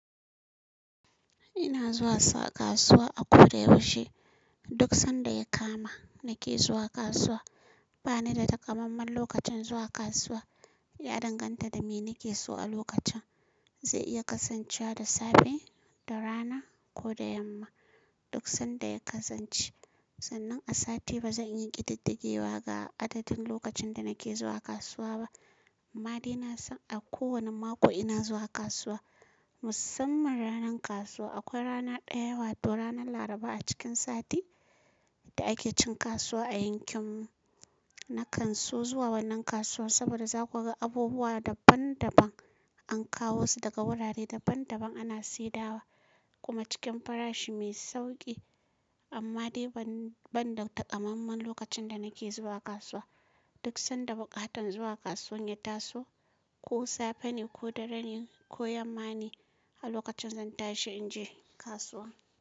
Ina zuwa sa kasuwa a ko da yaushe. Duk sanda ya kama nake zuwa kasuwa. Bani da takamammen lokacin zuwa kasuwa. Ya danganta da me nake so a lokacin. Zai iya kasancewa da safe, da rana ko da yamma, duk sanda ya kasance. Sannan a sati ba zan yi ƙididdigewa ga adadin lokacin da nake zuwa kasuwa ba. Amma dai ina son a kowane mako ina zuwa kasuwa. Musamman ranar kasuwa akwai ranar ɗaya wato ranar laraba a cikin sati. Da ake cin kasuwa a yankin mu. Nakan so zuwa wannan kasuwar saboda za ku ga abubuwa daban-daban. An kawo su daga wurare daban-daban ana saidawa. Kuma cikin farashi mai sauƙi. Amma dai ban, ban da takamammen lokacin da nake zuwa kasuwa. Duk sanda buƙatan zuwa kasuwa ya taso, ko safe ne ko dare ne ko yamma ne, a lokacin zan tashi in je kasuwa.